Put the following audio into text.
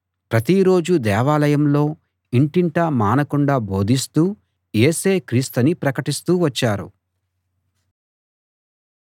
ప్రతిరోజూ దేవాలయంలో ఇంటింటా మానకుండా బోధిస్తూ యేసే క్రీస్తని ప్రకటిస్తూ వచ్చారు